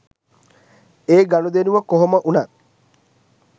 ඒ ගනුදෙනුව කොහොමවුණත්